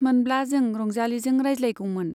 मोनब्ला जों रंजालीजों रायज्लायगौमोन।